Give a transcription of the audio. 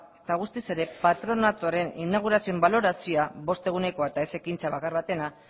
eta guztiz ere patronatuaren inaugurazioen balorazioa bost egunekoa eta ez ekintza bakar batena